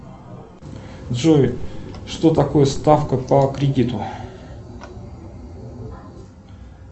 джой что такое ставка по кредиту